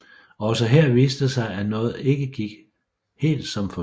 Også her viste det sig at noget ikke gik helt som ventet